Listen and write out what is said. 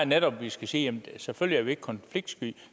netop vi skal sige at selvfølgelig ikke konfliktsky